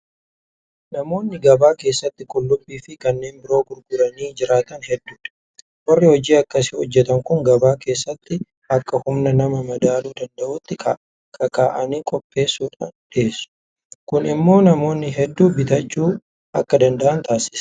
Namoonni gabaa keessatti Qullubbiifi kanneen biroo gurguranii jiraatan hedduudha. Warri hojii akkasii hojjetan kun gabaa keessatti akka humna namaa madaaluu danda'utti kakaa'anii qopheessuudhaan dhiyeessu. Kun immoo namoonni hedduun bitachuu akka danda'an taasiseera.